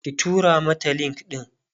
ki tura mata link ɗin!